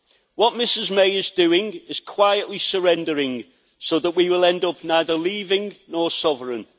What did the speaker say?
What Mrs May is doing is quietly surrendering, so that we will end up neither leaving nor sovereign.